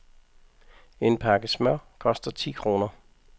En pakke smør koster ti kroner.